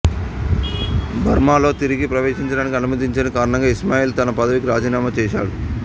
బర్మాలో తిరిగి ప్రవేశించడానికి అనుమతించని కారణంగా ఇస్మాయిల్ తన పదవికి రజీనామా చేసాడు